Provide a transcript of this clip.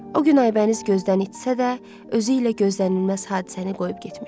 O gün Aybəniz gözdən itsə də, özü ilə gözdənilməz hadisəni qoyub getmişdi.